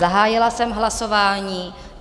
Zahájila jsem hlasování.